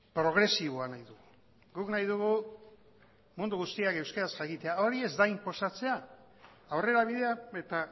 progresiboa nahi dugu guk nahi dugu mundu guztiak euskara jakitea hori ez da inposatzea aurrerabidea eta